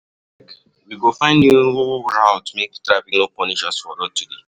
Abeg we go find new route make taffic no punish us for road today.